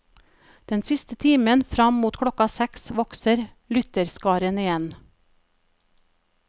Den siste timen fram mot klokka seks vokser lytterskaren igjen.